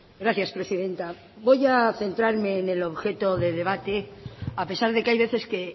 gracias presidenta voy a centrarme en el objeto de debate a pesar de que hay veces que